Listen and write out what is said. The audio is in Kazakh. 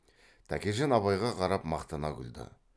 тәкежан абайға қарап мақтана күлді